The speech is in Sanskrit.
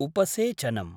उपसेचनम्